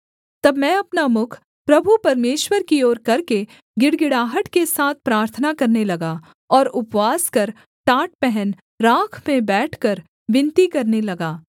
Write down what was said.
तब मैं अपना मुख प्रभु परमेश्वर की ओर करके गिड़गिड़ाहट के साथ प्रार्थना करने लगा और उपवास कर टाट पहन राख में बैठकर विनती करने लगा